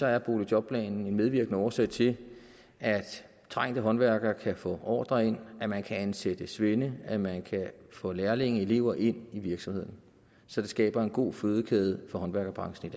er boligjobplanen en medvirkende årsag til at trængte håndværkere kan få ordrer ind at man kan ansætte svende at man kan få lærlinge og elever ind i virksomhederne så det skaber en god fødekæde for håndværkerbranchen i